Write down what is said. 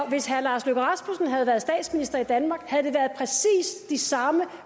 hvis herre lars løkke rasmussen havde været statsminister i danmark havde der været præcis de samme